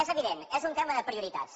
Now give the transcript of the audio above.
és evident és un tema de prioritats